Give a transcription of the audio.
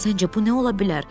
Səncə bu nə ola bilər?